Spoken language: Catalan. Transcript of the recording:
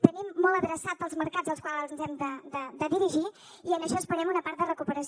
tenim molt adreçats els mercats als quals ens hem de dirigir i en això esperem una part de recuperació